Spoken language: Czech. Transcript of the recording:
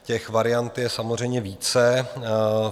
Těch variant je samozřejmě více.